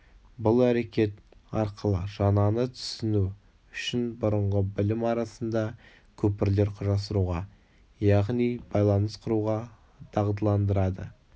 бұл әрекет арқылы жаңаны түсіну үшін бұрынғы білім арасында көпірлер құрастыруға яғни байланыс құруға дағдыландырады